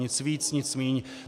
Nic víc, nic míň.